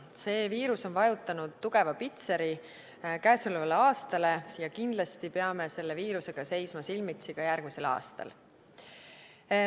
See viirus on vajutanud tugeva pitseri käesolevale aastale ja kindlasti peame selle viirusega seisma silmitsi ka järgmisel aastal.